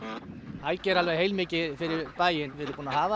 þær gera alveg heilmikið fyrir bæinn við erum búin að hafa